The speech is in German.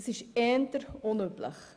Das ist eher unüblich.